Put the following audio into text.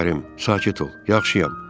Şəkərim, sakit ol, yaxşıyam.